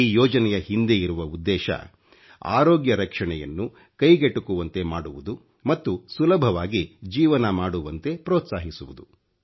ಈ ಯೋಜನೆಯ ಹಿಂದೆ ಇರುವ ಉದ್ದೇಶ ಅರೋಗ್ಯ ರಕ್ಷಣೆಯನ್ನು ಕೈಗೆಟುಕುವಂತೆ ಮಾಡುವುದು ಮತ್ತು ಸುಲಭವಾಗಿ ಜೀವನ ಮಾಡುವಂತೆ ಪ್ರೋತ್ಸಾಹಿಸುವುದು